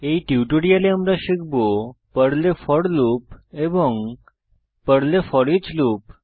এই টিউটোরিয়ালে আমরা শিখব পর্লে ফোর লুপ এবং পর্লে ফোরিচ লুপ